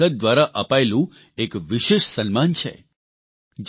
ચીલીની સંસદ દ્વારા અપાયેલું એક વિશેષ સન્માન છે